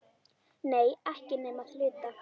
Nei, ekki nema að hluta.